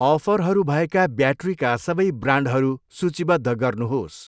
अफरहरू भएका ब्याट्रीका सबै ब्रान्डहरू सूचीबद्ध गर्नुहोस्।